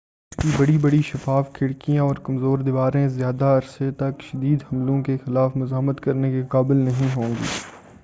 اس کی بڑی بڑی شفاف کھڑکیاں اور کمزور دیواریں زیادہ عرصے تک شدید حملوں کے خلاف مزاحمت کرنے کے قابل نہیں ہوں گی